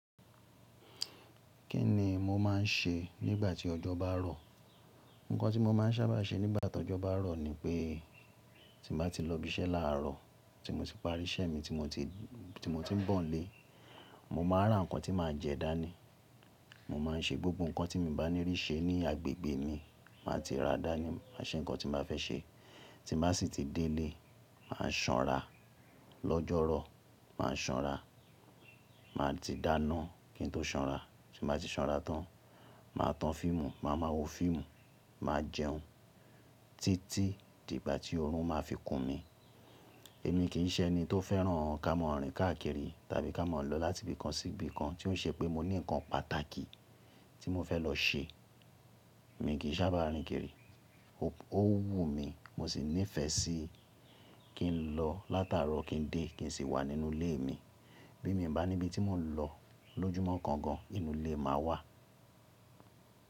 Kí ni mo máa ń ṣe nígbà tí ọjọ́ bá rọ̀? Ǹkan tí mo máa ń sábà ṣe nígbà tí ọjọ́ bá rọ̀ ni pé tí mo bá ti lọ ibi iṣẹ́ láàárọ̀, tí mo ti parí iṣẹ́ mi tí mo ti, tí mo ti ń bọ̀ nílé, mo máa ra nǹkan tí màá jẹ dání. Mo máa ń ṣe gbogbo nǹkan tí mo bá ní rí ṣe ní agbègbè mi. Máa ti ra dání, máa ṣe nǹkan tí mo bá fẹ́ ṣe. Tí màá sì ti dé ilé, màá sanra. Lọ́jọ́rọ̀, màá sanra. Màá ti dáná kí n tó sanra. Tí mo bá ti sanra tán, màá tan fíìmù, màá máa wo fíìmù, màá jẹun títí dìgbà tí oorun máa fi kùn mí. Èmi kì í ṣe ẹni tó fẹ́ràn ká mọ ọ̀rìn káàkiri tàbí ká mọ̀ lọ láti ibì kan sí ibì kan tí ó ṣe pé mo ní nǹkan pàtàkì tí mo fẹ́ lọ ṣe. Èmi kì í sábà rìn kiri. Ó wù mí, mo sì nífẹ̀ẹ́ sí kí n lọ látàárọ̀ kí n dé kí n sì wà nínú ilé mi. Bí mi bá níbi tí mò ń lọ lójúmọ́ kan gan, inú ilé máa wà.